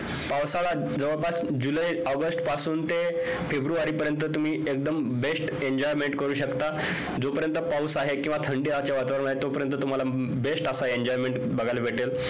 पावसाळा जवळपास जुलै ऑगस्ट पासून ते फेब्रुवारी पर्यंत तुम्ही एकदम best enjoyment करु शकता जो पर्यंत पाऊस आहे किव्हा थंडी वातावरण आहे तो पर्यंत तुम्हाला best असा enjoyment बघायला भेटेल